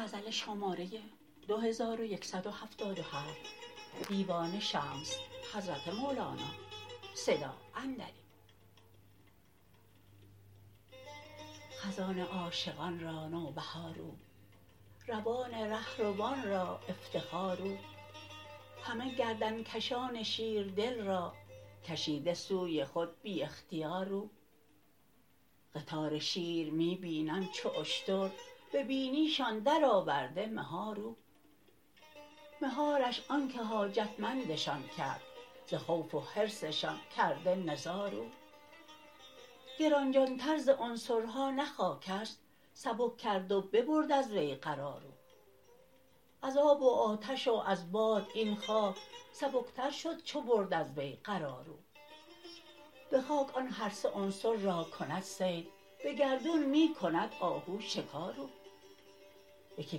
خزان عاشقان را نوبهار او روان ره روان را افتخار او همه گردن کشان شیردل را کشیده سوی خود بی اختیار او قطار شیر می بینم چو اشتر به بینیشان درآورده مهار او مهارش آنک حاجتمندشان کرد ز خوف و حرصشان کرده نزار او گران جانتر ز عنصرها نه خاک است سبک کرد و ببرد از وی قرار او از آب و آتش و از باد این خاک سبکتر شد چو برد از وی وقار او به خاک آن هر سه عنصر را کند صید به گردون می کند آهو شکار او یکی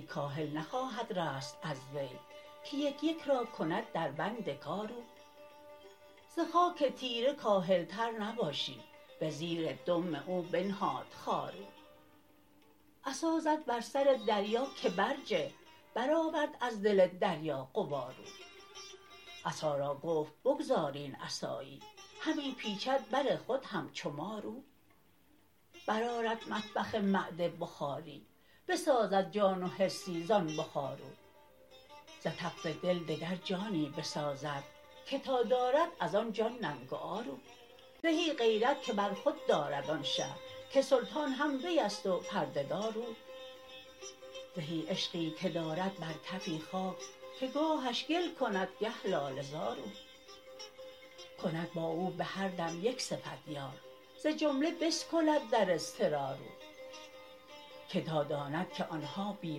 کاهل نخواهد رست از وی که یک یک را کند دربند کار او ز خاک تیره کاهلتر نباشی به زیر دم او بنهاد خار او عصا زد بر سر دریا که برجه برآورد از دل دریا غبار او عصا را گفت بگذار این عصایی همی پیچد بر خود همچو مار او برآرد مطبخ معده بخاری بسازد جان و حسی زان بخار او ز تف دل دگر جانی بسازد که تا دارد از آن جان ننگ و عار او زهی غیرت که بر خود دارد آن شه که سلطان هم وی است و پرده دار او زهی عشقی که دارد بر کفی خاک که گاهش گل کند گه لاله زار او کند با او به هر دم یک صفت یار ز جمله بسکلد در اضطرار او که تا داند که آن ها بی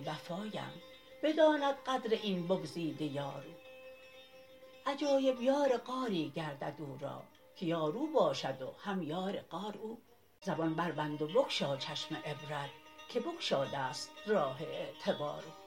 وفااند بداند قدر این بگزیده یار او عجایب یار غاری گردد او را که یار او باشد و هم یار غار او زبان بربند و بگشا چشم عبرت که بگشاده ست راه اعتبار او